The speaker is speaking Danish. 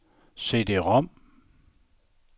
CD-rom